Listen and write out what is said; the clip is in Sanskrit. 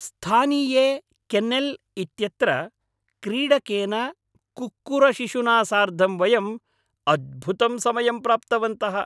स्थानीये केन्नेल् इत्यत्र क्रीडकेन कुक्कुरशिशुना सार्धं वयम् अद्भुतं समयं प्राप्तवन्तः।